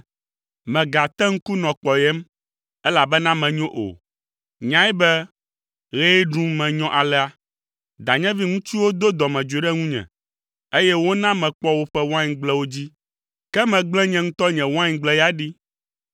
Mègate ŋku nɔ kpɔyem, elabena menyo o; nyae be ɣee ɖum menyɔ alea. Danyevi ŋutsuwo do dɔmedzoe ɖe ŋunye, eye wona mekpɔ woƒe waingblewo dzi, ke megblẽ nye ŋutɔ nye waingble ya ɖi.